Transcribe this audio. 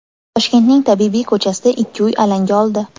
Toshkentning Tabibiy ko‘chasida ikki uy alanga oldi.